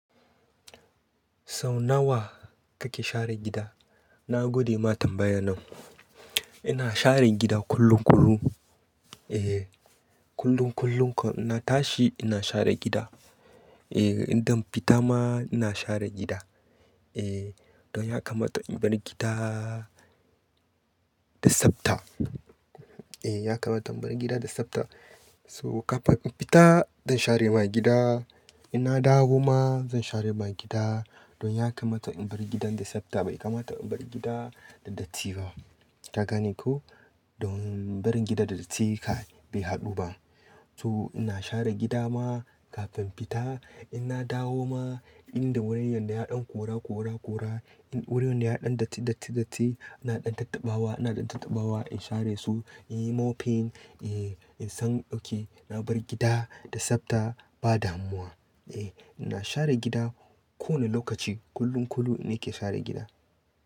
Sau nawa kake share gida? Na gode matar bayanan. Ina share gida kullum kullum. Eh, kullum kullum in na tashi ina share gida. Eh, idan fita ma ina share gida. Eh, don ya kamata in bar gida da tsabta. Eh, ya kamata in bar gida da tsabta. So kafin in fita zan share mani gida, ina dawo ma zan share mani gida. Don ya kamata in bar gidan da tsabta bai kamata in bar gida da datti ba. Ka gane ko? Don barin gida da datti ka bai haɗu ba. So ina share gida ma kafin fita, in na dawo ma, in da wurin yadda ya ɗan kora, kora, kora. In wurin ya ɗan datti, datti, datti, ina ɗan tattaɓawa, ina ɗan tattaɓawa in share su, in yi mopping. Eh, in san dauke, na bar gida da tsabta bada muwa. Eh, ina share gida kowane lokaci kullum kullum ina ke share gida.